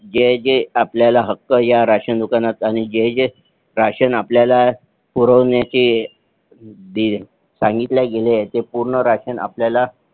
जे जे आपल्याला हक्क या राशन दुकानात आणि जे जे राशन आपल्याला पुरवण्याचे सांगितल्या गेले ते पूर्ण राशन आपल्याला